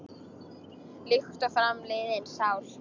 Líkt og fram liðin sál.